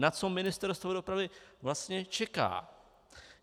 Na co Ministerstvo dopravy vlastně čeká?